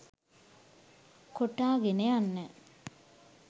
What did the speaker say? කොටාගෙන යන්න